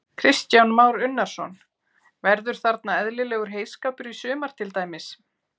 Kristján Már Unnarsson: Verður þarna eðlilegur heyskapur í sumar til dæmis?